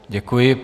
Děkuji.